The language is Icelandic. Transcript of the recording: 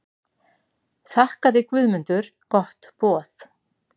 Þakkaði Guðmundur gott boð.